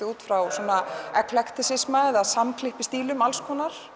út frá svona samsklippistílum